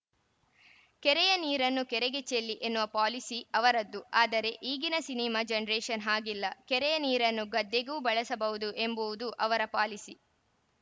ಕೆರೆಯ ನೀರನ್ನು ಕೆರೆಗೆ ಚೆಲ್ಲಿ ಎನ್ನುವ ಪೋಲಿಸಿ ಅವರದ್ದು ಆದರೆ ಈಗಿನ ಸಿನಿಮಾ ಜನರೇಷನ್‌ ಹಾಗಿಲ್ಲ ಕೆರೆಯ ನೀರನ್ನು ಗದ್ದೆಗೂ ಬಳಸಬಹುದು ಎಂಬುವುದು ಅವರ ಪಾಲಿಸಿ